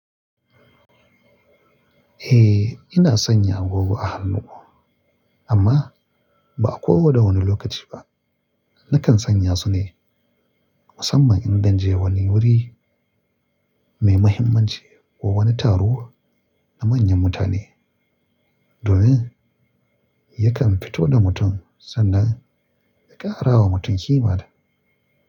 Eh, ina sanya agogo a hannu amma ba kowa da wani lokaci ba. Nakan sanya su ne musamman in zan je wani wuri mai muhimmanci ko wani taro na manyan mutane domin yakan fito da mutum sannan ya kara wa mutum ƙima da.